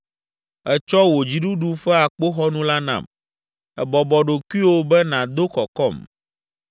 Ètsɔ wò dziɖuɖu ƒe akpoxɔnu la nam. Ebɔbɔ ɖokuiwò be nàdo kɔkɔm.